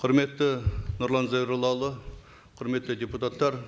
құрметті нұрлан зайроллаұлы құрметті депутаттар